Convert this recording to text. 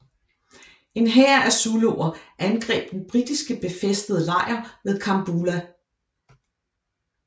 En hær af zuluer angreb den britiske befæstede lejr ved Kambula